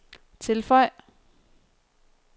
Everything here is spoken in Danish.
tilføj